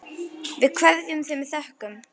Við kveðjum þig með þökkum.